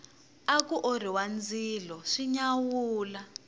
aku orhiwa ndzilo swi nyawula